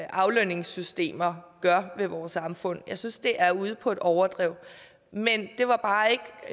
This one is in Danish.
aflønningssystemer gør ved vores samfund jeg synes det er ude på et overdrev men det var bare ikke